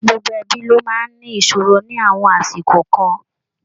Gbogbo ẹbí ló máa ń ní ìṣòro ní àwọn àsìkò kan.